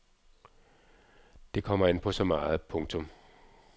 Det kommer an på så meget andet. punktum